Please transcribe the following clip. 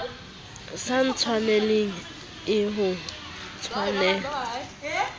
sa ntshwaneleng le ho ntshwanela